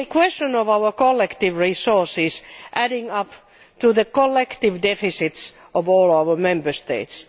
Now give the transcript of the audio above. It is a question of our collective resources adding up to the collective deficits of all our Member States